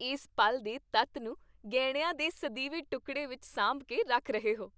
ਇਸ ਪਲ ਦੇ ਤੱਤ ਨੂੰ ਗਹਿਣਿਆਂ ਦੇ ਸਦੀਵੀ ਟੁਕਡ਼ੇ ਵਿੱਚ ਸਾਂਭ ਕੇ ਰੱਖ ਰਹੇ ਹੋ।